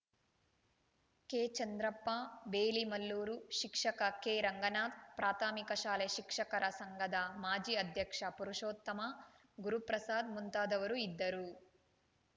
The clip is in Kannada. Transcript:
ಕೆ ಚಂದ್ರಪ್ಪ ಬೇಲಿಮಲ್ಲೂರು ಶಿಕ್ಷಕ ಕೆ ರಂಗನಾಥ್‌ ಪ್ರಾಥಮಿಕ ಶಾಲೆ ಶಿಕ್ಷಕರ ಸಂಘದ ಮಾಜಿ ಅಧ್ಯಕ್ಷ ಪುರುಷೋತ್ತಮ ಗುರುಪ್ರಸಾದ್‌ ಮುಂತಾದವರು ಇದ್ದರು